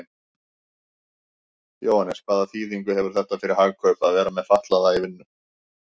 Jóhannes: Hvaða þýðingu hefur þetta fyrir Hagkaup að vera með fatlaða í vinnu?